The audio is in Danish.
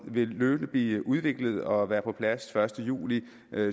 vil løbende blive udviklet og være på plads første juli